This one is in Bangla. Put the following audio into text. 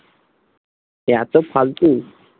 এতো ফালতু